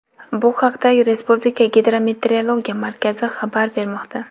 Bu haqda Respublika Gidrometeorologiya markazi xabar bermoqda .